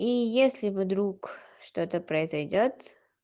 и если вдруг что-то произойдёт